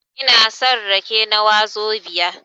Ina son rake na wazobia